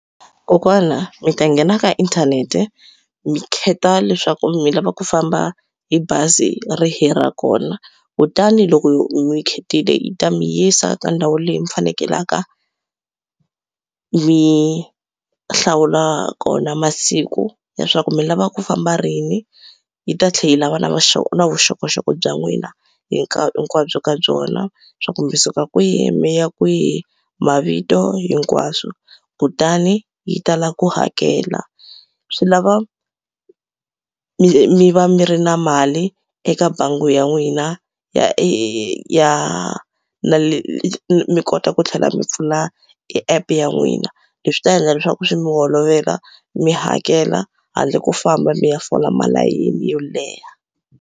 Kokwana mi ta nghena ka inthanete mi khetha leswaku mi lava ku famba hi bazi rihi ra kona kutani loko mi khethile yi ta mi yisa ka ndhawu leyi mi fanekelaka mi hlawula kona masiku leswaku mi lava ku famba rini yi ta tlhe yi lava na na vuxokoxoko bya n'wina hi ka hinkwabyo ka byona swa ku mi suka kwihi mi ya kwihi mavito hinkwaswo kutani yi ta lava ku hakela. Swi lava mi va mi ri na mali eka bangi ya n'wina ya ya na le mi kota ku tlhela mi pfula app ya n'wina leswi ta endla leswaku swi mi olovela mi hakela handle ko famba mi ya fola malayini yo leha.